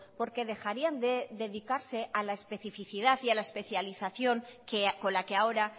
porque dejarían de dedicarse a la especificidad y a la especialización con la que ahora